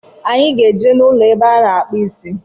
Anyị ga-eje n'ụlọ ebe a na-akpụ isi